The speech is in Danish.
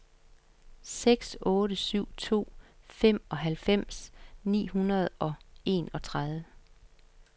seks otte syv to femoghalvfems ni hundrede og enogtredive